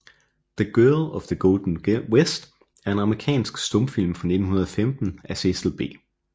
The Girl of the Golden West er en amerikansk stumfilm fra 1915 af Cecil B